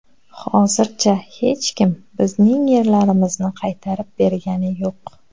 Hozircha hech kim bizning yerlarimizni qaytarib bergani yuq.